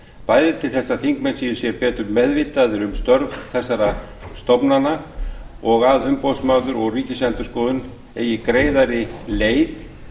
bæði til þess að þingmenn séu sér betur meðvitaðir um störf þessara stofnana og að umboðsmaður og ríkisendurskoðun eigi greiðari leið